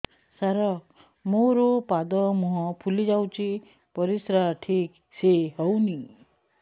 ସାର ମୋରୋ ପାଦ ମୁହଁ ଫୁଲିଯାଉଛି ପରିଶ୍ରା ଠିକ ସେ ହଉନି